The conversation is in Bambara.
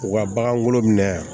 U ka bagankolo minɛ